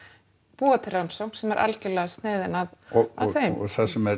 búa til rannsókn sem er algjörlega sniðin að þeim og það sem